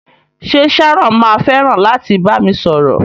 Ṣe Sharon ma fẹràn láti bami sọ̀rọ̀?